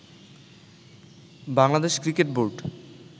Bangladesh cricket board